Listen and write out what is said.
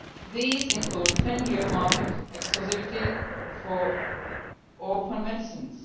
These include 10 year market exclusivity for orphan medicines.